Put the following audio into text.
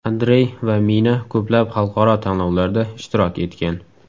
Andrey va Mina ko‘plab xalqaro tanlovlarda ishtirok etgan.